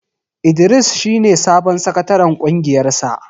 Idris shi ne sabon sakataren ƙungiyar sa.